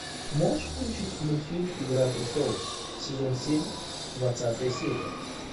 можешь включить мультфильм игра престолов сезон семь двадцатая серия